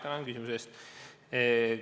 Tänan küsimuse eest!